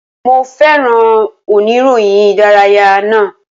Mo féràn oníròyìn ìdárayá náà.